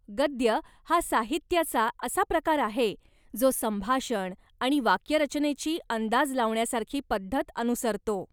गद्य हा साहित्याचा असा प्रकार आहे जो संभाषण आणि वाक्यरचनेची अंदाज लावण्यासारखी पद्धत अनुसरतो.